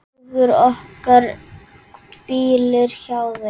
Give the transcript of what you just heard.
Hugur okkar hvílir hjá þeim.